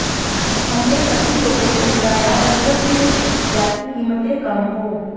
हमने सभी लोगों को बुलाया और यह सुनिश्चित किया कि कीमतें कम हों